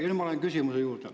Nüüd ma lähen küsimuse juurde.